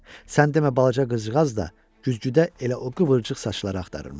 Sən demə balaca qızcığaz da güzgüdə elə o qıvrıcıq saçları axtarırmış.